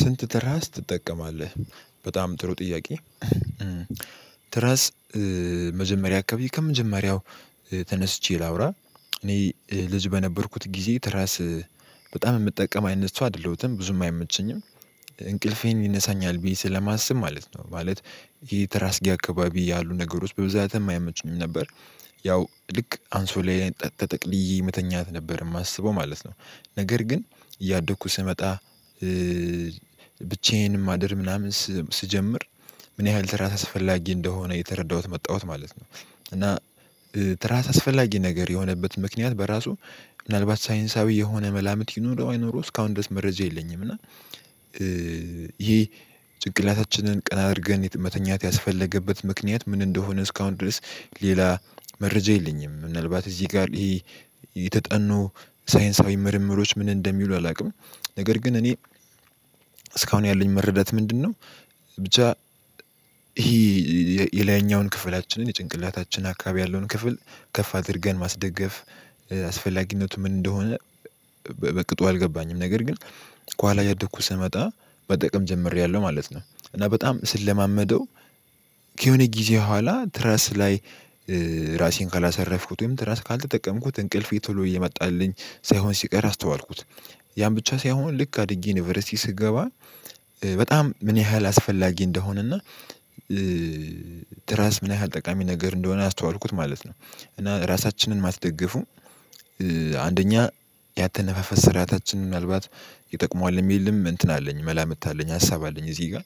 ስንት ትራስ ትጠቀማለህ? በጣም ጥሩ ጥያቄ ትረስ መጀመሪያ አካባቢ ከመጀመሪያው ተነስቼ ላውራ እኔ ልጅ በነበርኩት ጊዜ ትራስ በጣም የምጠቀም አይነት ሰው አይደለሁትም ብዙም አይመቸኝም። እንቅልፌን ይነሳኛል ብዬ ስለማስብ ማለት ነው ማለት ይሄ ተራስጌ አካባቢ ያሉ ነገሮች በብዛትም አይመቹም ነበር። ያው ልክ አንሶላዬ ላይ ተጠቅልዬ መተኛት ነበር የማስበው ማለት ነው። ነገር ግን እያደኩ ስመጣ ብቻዬን ማደር ምናምን ስጀምር ምን ያህል ተራስ አስፈላጊ እንደሆነ የተረዳሁት መጣሁት ማለት ነው። እና ትራስ አስፈላጊ ነገር የሆነበት ምክንያት በራሱ ምናልባት ሳይንሳዊ የሆነ መላምት ይኖረው አይኑረው እስካሁን ድረስ መረጃ የለኝም። እና ይሄ ጭንቅላታችንን ቀና አድርገን መተኛት ያስፈለገበት ምክንያት ምን እንደሆነ እስካሁን ድረስ ሌላ መረጃ የለኝም። ምናልባት እዚህ ጋር ይሄ የተጠኑ ሳይንሳዊ ምርምሮች ምን እንደሚሉ አላውቅም። ነገር ግን እኔ እኔ እስካሁን ያለኝ መረዳት ምንድነው? ብቻ ይሄ የላይኛውን ክፍላችንን የጭንቅላታችን አካባቢ ያለውን ክፍል ከፍ አድርገን ማስደገፍ አስፈላጊነቱ ምን እንደሆነ በቅጡ አልገባኝም። ነገር ግን ከኋላ እያደኩ ስመጣ መጠቅም ጀምሬያለሁ ማለት ነው። እና በጣም ስለማመደው ከየሆነ ጊዜ ኋላ ትረስ ላይ ራሴን ካላሰረፍኩት ወይም ትረስ ካልተጠቀምኩት እንቅልፌ ቶሎ እየመጣልኝ ሳይሆን ሲቀር አስተዋልኩት። ያን ብቻ ሳይሆን ልክ አድጌ ኒቨርሲቲ ስገባ በጣም ምን ያህል አስፈላጊ እንደሆነና ትራስ ምን ያህል ጠቃሚ ነገር እንደሆነ አስተዋልኩት ማለት ነው። እና ራሳችንን ማስደግፉ አንደኛ ያአተነፋፈስ ስራአታችን ምናልባት ይጠቅመዋል የሚልም እንትን አለኝ መላምት አለኝ ሀሳብ አለኝ እዚህ ጋር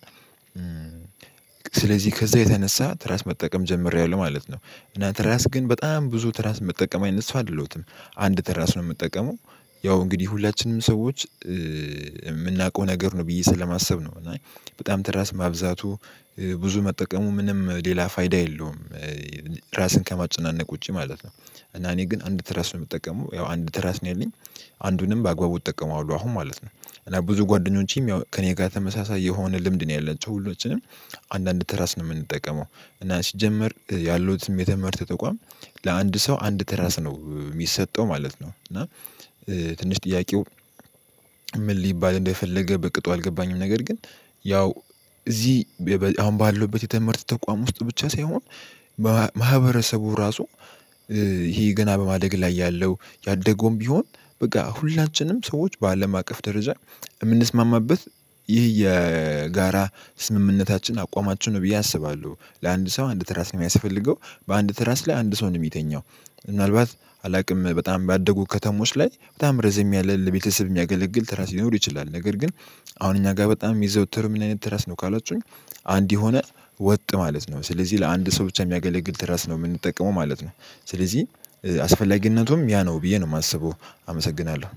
ስለዚህ ከዛ የተነሳ ትራስ መጠቀም ጀምሬያለሁ ማለት ነው። እና ተራስ ግን በጣም ብዙ ተራስ መጠቀም አይነት ሰው አደለዉትም። አንድ ተራስ ነው የምጠቀመው ያው እንግዲህ ሁላችንም ሰዎች የምናውቀው ነገር ነው ብዬ ስለማሰብ ነው እና በጣም ትራስ ማብዛቱ ብዙ መጠቀሙ ምንም ሌላ ፋይዳ የለውም። ራስን ከማጨናነቅ ውጪ ማለት ነው እና እኔ ግን አንድ ትረስ ነው የምጠቀመው ያው አንድ ትረስ ነው ያለኝ አንዱንም በአግባቡ እጠቀማዋለህ አሁን ማለት ነው። እና ብዙ ጓደኞቼም ያው ከእኔ ጋር ተመሳሳይ የሆነ ልምድ ነው ያለችው ሁላችንም አንዳንድ ተራስ ነው የምንጠቀመው እና ሲጀመር ያሉትም የትምህረተ ተቋም ለአንድ ሰው አንድ ተራስ ነው የሚሰጠው ማለት ነው። እና ትንሽ ጥያቄው ምን ሊባል እንደፈለገ በቅጡ አልገባኝም። ነገር ግን ያው እዚህ አሁን ባለውበት የትመህርት ተቋም ውስጥ ብቻ ሳይሆን ማህበረሰቡ ራሱ ይሄ ገና በማደግ ላይ ያለው ያደገውም ቢሆን በቃ ሁላችንም ሰዎች በአለም አቅፍ ደረጃ የምንስማማበት ይህ የጋራ ስምምነታችን አቋማችን ነው ብዬ አስባለሁ ለአንድ ሰው አንድ ትራስ ነው የሚያስፈልገው። በአንድ ትራስ ላይ አንድ ሰው ነው የሚተኛው። ምናልባት አላቅም በጣም ባደጉ ከተሞች ላይ በጣም ረዘም ያለ ለቤተሰብ የሚያገለግል ተራስ ሲኖር ይችላል ነገር ግን አሁን እኛ ጋር በጣም የሚዘውትር ምን አይነት ትረስ ነው ካላችሁኝ? አንድ የሆነ ወጥ ማለት ነው ስለዚህ ለአንድ ሰው ብቻ የሚያገለግል ትራስ ነው የምንጠቀመው ማለት ነው። ስለዚህ አስፈላጊነቱም ያ ነው ብዬ ነው የማስበው። አመሰግናለሁ